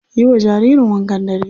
Yiwa jaririn wankan dare.